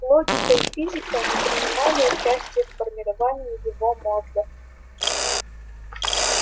логика и физика не принимали участия в формировании его мозга